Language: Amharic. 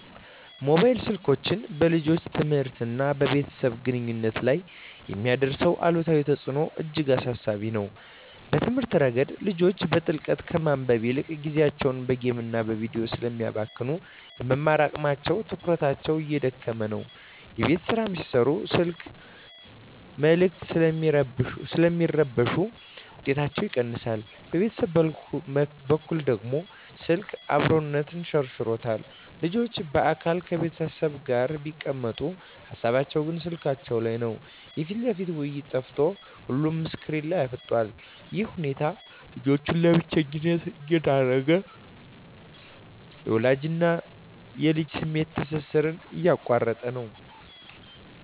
ሞባይል ስልኮች በልጆች ትምህርትና በቤተሰብ ግንኙነት ላይ የሚያሳድሩት አሉታዊ ተጽዕኖ እጅግ አሳሳቢ ነው። በትምህርት ረገድ፣ ልጆች በጥልቀት ከማንበብ ይልቅ ጊዜያቸውን በጌምና በቪዲዮ ስለሚያባክኑ፣ የመማር አቅማቸውና ትኩረታቸው እየተዳከመ ነው። የቤት ሥራ ሲሠሩም የስልክ መልዕክቶች ስለሚረብሹ ውጤታቸው ይቀንሳል። በቤተሰብ በኩል ደግሞ፣ ስልክ "አብሮነትን" ሸርሽሮታል። ልጆች በአካል ከቤተሰብ ጋር ቢቀመጡም፣ ሃሳባቸው ግን ስልካቸው ላይ ነው። የፊት ለፊት ውይይት ጠፍቶ ሁሉም ስክሪን ላይ አፍጥጧል። ይህ ሁኔታ ልጆችን ለብቸኝነት እየዳረገ፣ የወላጅና ልጅን የስሜት ትስስር እየቆረጠው ነው።